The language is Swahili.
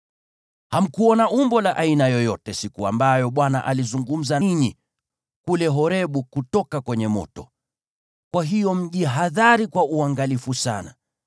Hamkuona umbo la aina yoyote siku ambayo Bwana alizungumza nanyi kule Horebu kutoka kwenye moto. Kwa hiyo mjihadhari kwa uangalifu sana,